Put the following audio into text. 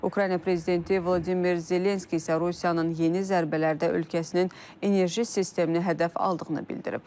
Ukrayna prezidenti Vladimir Zelenski isə Rusiyanın yeni zərbələrdə ölkəsinin enerji sistemini hədəf aldığını bildirib.